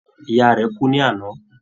Ìyá rẹ̀ kú ní àná.